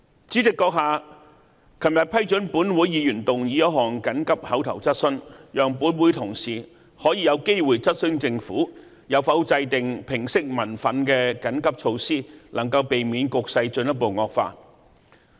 主席閣下昨天批准本會議員提出一項急切口頭質詢，讓本會同事可以有機會質詢政府有否制訂平息民憤的緊急措施，能夠避免局勢進一步惡化。